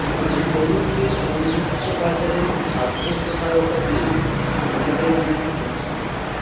তরুণদের উন্মুুক্ত বাজারের খাদ্য সহায়তা পেয়ে অনেকের মুখে হাসি